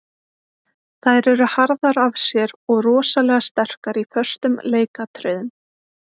Þær eru harðar af sér og rosalega sterkar í föstum leikatriðum.